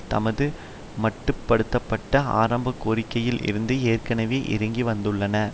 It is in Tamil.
தமது மட்டு படுத்த பட்ட ஆரம்ப கோரிக்கையில் இருந்து ஏற்கனவே இறங்கிவந்துள்ளன